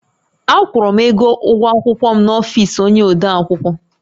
Akwụrụ m ego ụgwọ akwụkwọ m n’ọfisi onyé odeakwụkwọ